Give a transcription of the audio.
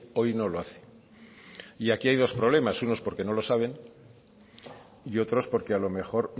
hoy no lo hace aquí hay dos problemas unos porque no lo saben y otros porque a lo mejor